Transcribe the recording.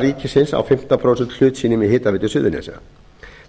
ríkisins á fimmtán prósenta hlut sínum í hitaveitu suðurnesja